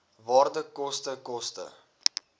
waarde koste koste